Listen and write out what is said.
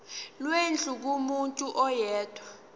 lwendlu kumuntu oyedwa